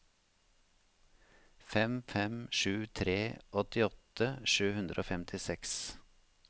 fem fem sju tre åttiåtte sju hundre og femtiseks